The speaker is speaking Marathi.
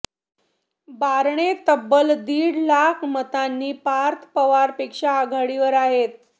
बारणे तब्बल दीड लाख मतांनी पार्थ पवार पेक्षा आघाडीवर आहेत